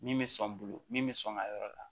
Min bɛ sɔn n bolo min bɛ sɔn ŋa yɔrɔ la